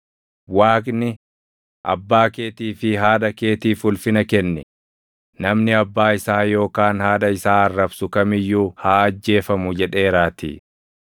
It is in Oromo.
Waaqni, ‘Abbaa keetii fi haadha keetiif ulfina kenni; + 15:4 \+xt Bau 20:12; KeD 5:16\+xt* namni abbaa isaa yookaan haadha isaa arrabsu kam iyyuu haa ajjeefamu’ + 15:4 \+xt Bau 21:17; Lew 20:9\+xt* jedheeraatii.